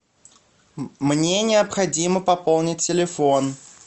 мне необходимо пополнить телефон